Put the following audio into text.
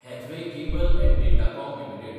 Hathway Cable & Datacom limited